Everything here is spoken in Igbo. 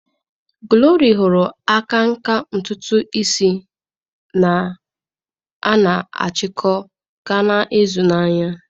Glory hụrụ akanka ntutu isi a na-achiko gaa na-azụ na-anya.